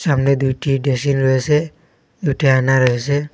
সামনে দুইটি ডেসিন রয়েসে দুইটি আয়না রয়েসে।